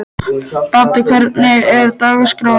Baddi, hvernig er dagskráin í dag?